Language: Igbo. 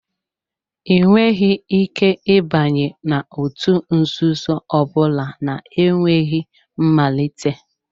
Ị nweghị ike ịbanye n'òtù nzuzo ọ bụla na-enweghị mmalite.